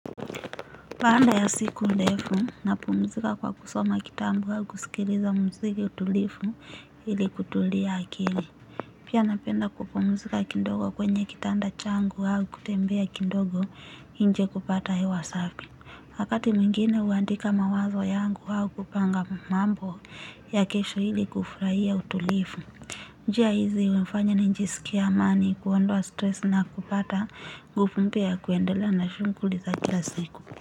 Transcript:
Baada ya siku ndefu napumzika kwa kusoma kitambu au kusikiliza muziki utulifu ili kutulia akili. Pia napenda kupumzika kindogo kwenye kitanda changu au kutembea kidogo nje kupata hewa safi. Wakati mwingine huandika mawazo yangu au kupanga mambo ya kesho ili kufurahia utulifu. Njia hizi hunifanya nijisikie amani kuondoa stress na kupata nguvu mpya kuendelea na shunguli za kila siku.